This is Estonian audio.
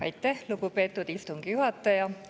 Aitäh, lugupeetud istungi juhataja!